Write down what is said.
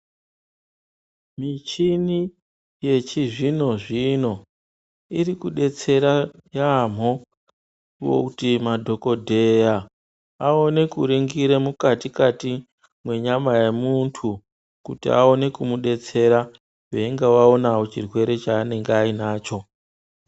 Michini yechizvino-zvino irikudetsera yaamho kuti madhokodheya aone kuringire mukati-kati mwenyama yemuntu kuti aone kumudetsera veinga vaona chirwere chaanenge ainacho.